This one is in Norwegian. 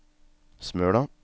Smøla